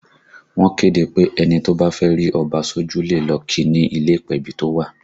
Wọ́n kéde pé ẹni tó bá fẹ́ rí Ọba sójú le lọ kí i ni ilé ìpèbí tó wà